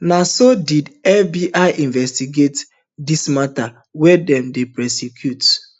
na so did fbi investigate dis mata wia dem dey prosecute